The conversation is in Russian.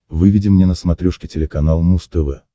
выведи мне на смотрешке телеканал муз тв